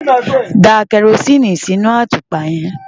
Da kẹrosíìnì sínú àtùpà yẹn.